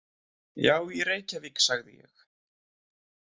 Já, í Reykjavík, sagði ég.